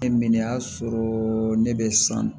Ne min y'a sɔrɔ ne bɛ san